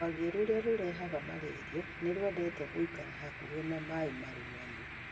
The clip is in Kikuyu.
Rwagĩ rũrĩa rũrehaga malaria nĩ rũendete gũikara hakuhĩ na maĩ marũgamu.